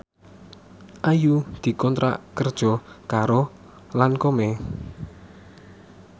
Ayu dikontrak kerja karo Lancome